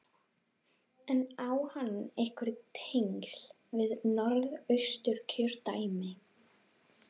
En á hann einhver tengsl við Norðausturkjördæmi?